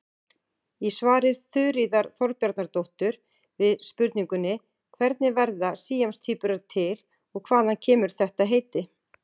Í svari Þuríðar Þorbjarnardóttur við spurningunni Hvernig verða síamstvíburar til og hvaðan kemur þetta heiti?